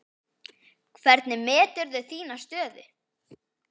Hvernig meturðu þína stöðu?